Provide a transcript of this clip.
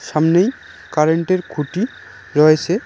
সামনেই কারেন্ট -এর খুঁটি রয়েসে।